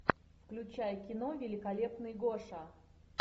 включай кино великолепный гоша